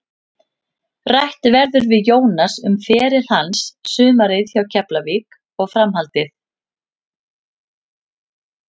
Rætt verður við Jónas um feril hans, sumarið hjá Keflavík og framhaldið.